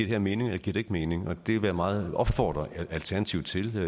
her mening eller giver det ikke mening og det vil jeg meget opfordre alternativet til at